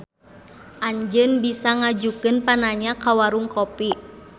Anjeun bisa ngajukeun pananya ka Warung Kopi.